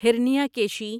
ہرنیاکیشی